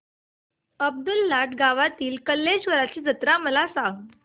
अब्दुललाट गावातील कलेश्वराची जत्रा मला सांग